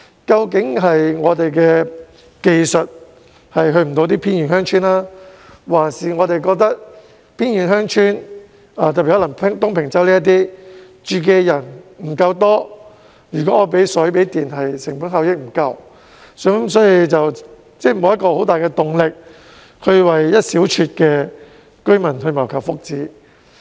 究竟是我們的技術不能覆蓋偏遠鄉村，還是我們認為偏遠鄉村，特別是東平洲等地的居住人口不夠多，為他們供水供電的成本效益不足，所以政府沒有很大的動力為那一小撮的居民謀求福祉？